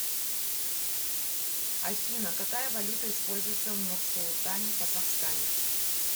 афина какая валюта используется в нурсултане казахстане